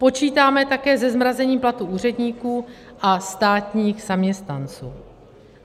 Počítáme také se zmrazením platů úředníků a státních zaměstnanců.